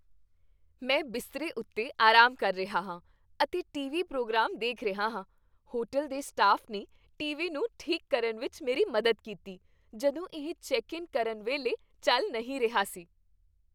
ਮੈਂ ਬਿਸਤਰੇ ਉੱਤੇ ਆਰਾਮ ਕਰ ਰਿਹਾ ਹਾਂ ਅਤੇ ਟੀ.ਵੀ. ਪ੍ਰੋਗਰਾਮ ਦੇਖ ਰਿਹਾ ਹਾਂ ਹੋਟਲ ਦੇ ਸਟਾਫ ਨੇ ਟੀ.ਵੀ. ਨੂੰ ਠੀਕ ਕਰਨ ਵਿੱਚ ਮੇਰੀ ਮਦਦ ਕੀਤੀ ਜਦੋਂ ਇਹ ਚੈੱਕ ਇਨ ਕਰਨ ਵੇਲੇ ਚੱਲ ਨਹੀਂ ਰਿਹਾ ਸੀ